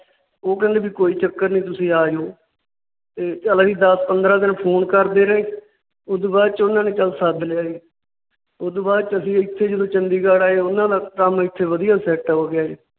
ਉਹ ਕਹਿੰਦੇ ਵੀ ਕੋਈ ਚੱਕਰ ਨਹੀਂ ਤੁਸੀਂ ਆ ਜਾਉ। ਚੱਲ ਅਸੀਂ ਦੱਸ ਪੰਦਰਾਂ ਦਿਨ Phone ਕਰਦੇ ਰਹੇ। ਉਸ ਤੋਂ ਬਾਅਦ ਚ ਚੱਲ ਉਹਨਾਂ ਨੇ ਸੱਦ ਲਿਆ ਸੀ। ਉਸ ਤੋਂ ਬਾਅਦ ਵਿਚ ਜਦੋ ਅਸੀਂ ਇੱਥੇ ਚੰਡੀਗੜ੍ਹ ਆਏ ਉਹਨਾਂ ਨਾਲ ਕੰਮ ਇੱਥੇ ਵਧੀਆ Set ਹੋ ਉਦੂ ਗਿਆ ਜੀ।